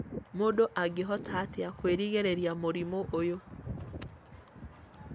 mũndũ angĩhota atĩa kwĩrigĩrĩria mũrimũ ũyũ